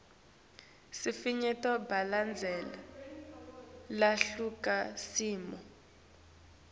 sifinyeto balandzele luhlakasimo